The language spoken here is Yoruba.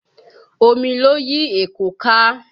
Omi ló yí Èkó ká